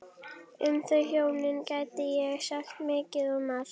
Um þau hjónin gæti ég sagt mikið og margt.